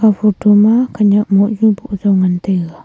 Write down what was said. aa photo ma khanyak mohnu boh zau ngantaiga.